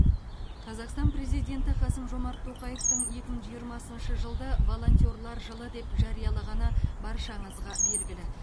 қазақстан президенті қасым жомарт тоқаевтың екі мың жиырмасыншы жылды волонтерлар жылы деп жариялағаны баршаңызға белгілі